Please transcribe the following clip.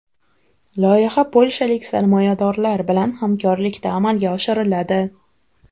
Loyiha polshalik sarmoyadorlar bilan hamkorlikda amalga oshiriladi.